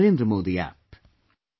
Or on NarendraModiApp